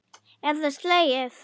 Er það slegið?